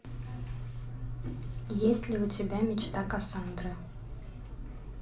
есть ли у тебя мечта кассандры